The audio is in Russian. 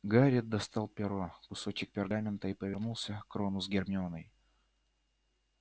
гарри достал перо кусочек пергамента и повернулся к рону с гермионой